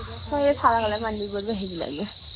সাদা color পাঞ্জাবি পরবে হেবি লাগবে